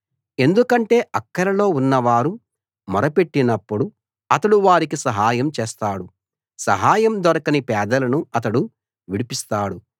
ఎందుకంటే అక్కరలో ఉన్నవారు మొర పెట్టినప్పుడు అతడు వారికి సహాయం చేస్తాడు సహాయం దొరకని పేదలను అతడు విడిపిస్తాడు